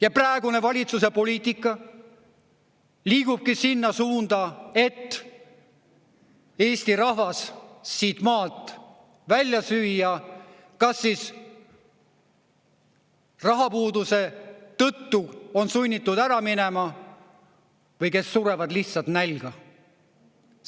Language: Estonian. Ja praegune valitsuse poliitika liigubki sinna suunda, et Eesti rahvas siit maalt välja süüa, kas siis rahapuuduse tõttu on sunnitud ära minema või kes surevad lihtsalt nälga.